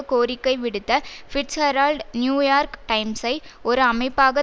கோரிக்கை விடுத்த Fitzgerald New York டைம்ஸை ஒரு அமைப்பாக